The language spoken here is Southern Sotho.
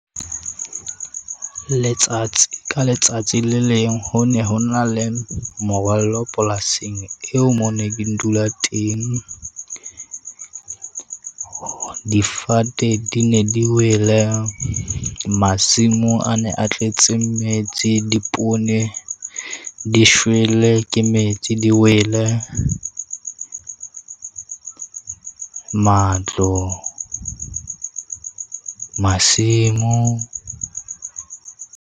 Letsatsi ka letsatsi le leng ho ne ho na le morwallo polasing eo, moo ne ke dula teng. Difate di ne di wele masimo a ne a tletse metsi, dipoone di shwele ke metsi, di wele matlo masimo.